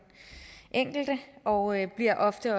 enkelte og bliver ofte